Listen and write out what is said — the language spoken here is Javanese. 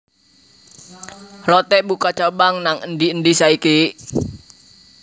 Lotte buka cabang nang endi endi saiki